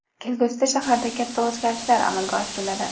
Kelgusida shaharda katta o‘zgarishlar amalga oshiriladi.